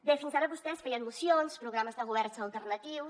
bé fins ara vostès feien mocions programes de governs alternatius